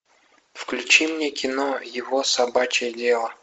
включи мне кино его собачье дело